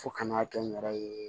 Fo kana kɛ n yɛrɛ ye